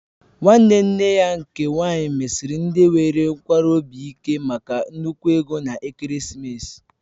Nwanne nne ya nke nwaanyị mesiri ndị nwere nkwarụ obi ike maka nnukwu ego na ekeresimesi